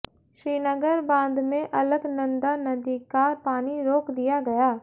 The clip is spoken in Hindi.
श्रीनगर बांध में अलकनंदा नदी का पानी रोक दिया गया